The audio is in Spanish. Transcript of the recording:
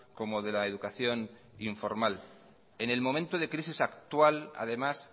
como de la educación informal en el momento de crisis actual además